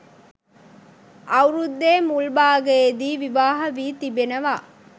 අවුරුද්දේ මුල් භාගයේදී විවාහ වී තිබෙනවා